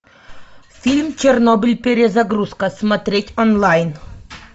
фильм чернобыль перезагрузка смотреть онлайн